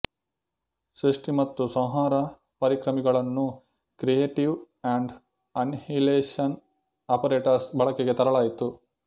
ಸೃಷ್ಟಿ ಮತ್ತು ಸಂಹಾರ ಪರಿಕರ್ಮಿಗಳನ್ನೂ ಕ್ರಿಎಟಿವ್ ಅಂಡ್ ಅನಿಹಿಲೇಷನ್ ಆಪರೇಟರ್ಸ್ ಬಳಕೆಗೆ ತರಲಾಯಿತು